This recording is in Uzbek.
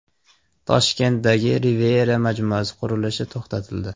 Toshkentdagi Riviera majmuasi qurilishi to‘xtatildi.